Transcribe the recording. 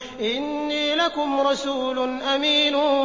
إِنِّي لَكُمْ رَسُولٌ أَمِينٌ